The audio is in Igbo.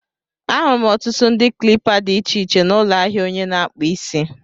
Ahụrụ m ọtụtụ ụdị klipa dị iche iche n'ụlọ ahịa onye na-akpụ isi.